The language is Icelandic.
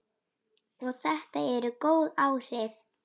Og þetta eru góð áhrif.